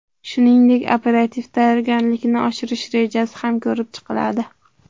Shuningdek, operativ tayyorgarlikni oshirish rejasi ham ko‘rib chiqiladi.